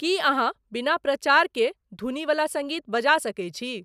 की अहाँ बीना प्रचार के धूनी बला संगीत बजा सकै छी